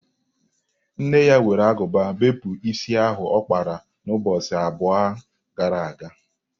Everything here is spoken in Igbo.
Nne ya were agụba bepụ isi ahụ ọ kpara n'ụbọchị abụọ gara aga.